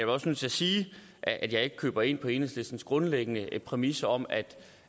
også nødt til at sige at jeg ikke kan gå ind på enhedslistens grundlæggende præmis om at